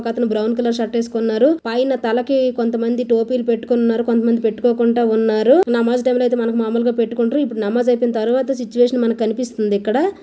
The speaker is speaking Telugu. ఒకతను బ్రౌన్ కలర్ షర్ట్ వేసుకున్నారు. పైన తలకి కొంతమంది టోపీలు పెట్టుకున్నారు. కొంతమంది టోపీలు పెట్టుకోకుండా ఉన్నారు. నమాజ్ టైం లో అయితే మామూలుగా పెట్టుకుంటారు. ఇప్పుడు నమాజ్ అయిపోయిన తరువాత సిట్యువేషన్ మనకు కనిపిస్తుంది ఇక్కడ.